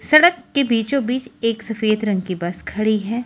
सड़क के बीचों बीच एक सफेद रंग की बस खड़ी है।